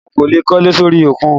O kò lè kólé sórí òkun